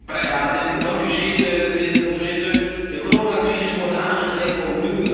Voorzitter, de coronacrisis wordt aangegrepen om een nieuwe Europese belasting in te voeren.